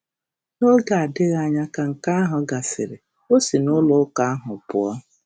N’oge adịghị anya ka nke ahụ gasịrị, o si na ụlọụka ahụ pụọ.